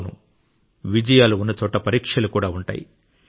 అవును విజయాలు ఉన్నచోట పరీక్షలు కూడా ఉంటాయి